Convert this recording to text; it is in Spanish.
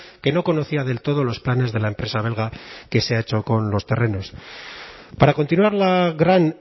que no conocía del todo los planes de la empresa belga que se ha hecho con los terrenos para continuar la gran